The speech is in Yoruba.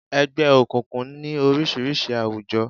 Ẹgbẹ́ òkùnkùn ní oríṣiríṣi àwùjọ.